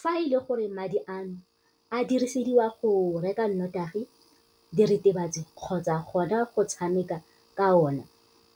"Fa e le gore madi ano a dirisediwa go reka notagi, diritibatsi kgotsa gona go tshameka ka ona